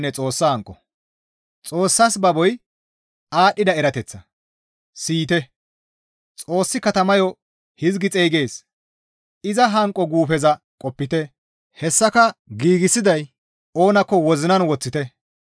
Xoossas baboy aadhdhida erateththa; Siyite! Xoossi katamayo hizgi xeygees, «Iza hanqo guufeza qopite; hessaka giigsiday oonakko wozinan woththite.»